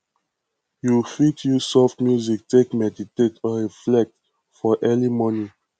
you fit use soft music take meditate or reflect for early morning